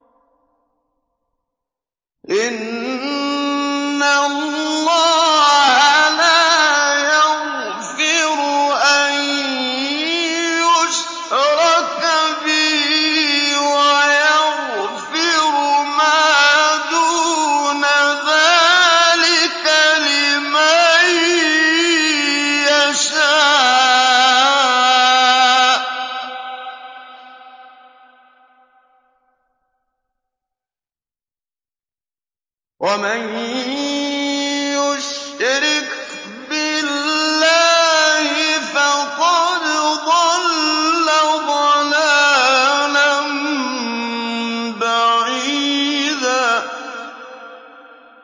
إِنَّ اللَّهَ لَا يَغْفِرُ أَن يُشْرَكَ بِهِ وَيَغْفِرُ مَا دُونَ ذَٰلِكَ لِمَن يَشَاءُ ۚ وَمَن يُشْرِكْ بِاللَّهِ فَقَدْ ضَلَّ ضَلَالًا بَعِيدًا